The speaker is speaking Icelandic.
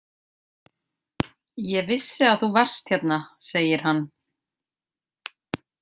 Ég vissi að þú varst hérna, segir hann.